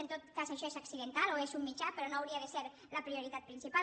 en tot cas això és accidental o és un mitjà però no hauria de ser la prioritat principal